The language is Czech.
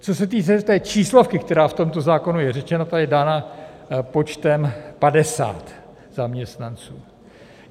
Co se týče té číslovky, která v tomto zákonu je řečena, ta je dána počtem 50 zaměstnanců.